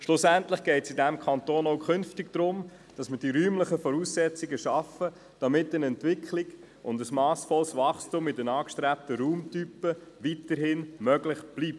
Schlussendlich wird es in diesem Kanton auch künftig darum gehen, die räumlichen Voraussetzungen zu schaffen, damit eine Entwicklung und ein massvolles Wachstum in den angestrebten Raumtypen weiterhin möglich bleibt.